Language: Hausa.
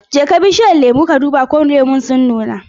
Jeka bishiyar lemu ka duba ko lemu sun nuna.